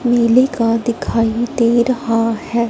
नीली कार दिखाई दे रहा है।